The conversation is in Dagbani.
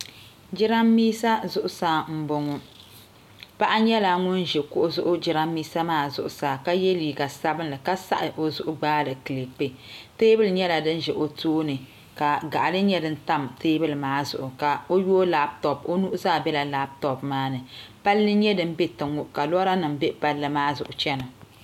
Jiranbiisa zuɣusaa n boŋo paɣa nyɛla ŋun ʒi kuɣu zuɣu jiranbiisa maa zuɣusaa ka yɛ liiga sabinli ka saɣi o zuɣu gbaali kilipi teebuli nyɛla din ʒɛ o tooni ka gaɣali nyɛ din tam teebuli maa zuɣu ka o yooi labtop o nuhi zaa bɛla labtop maa ni palli n nyɛ din bɛ tiŋ ŋo ka lora nim bɛ palli maa zuɣu chɛna